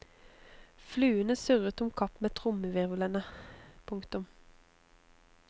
Fluene surret om kapp med trommehvirvlene. punktum